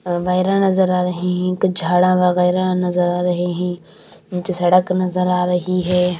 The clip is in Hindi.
वगैरह नजर आ रहे हैं कुछ झाड़ा वगैरह नजर आ रहे हैं नीचे सड़क नजर आ रही है।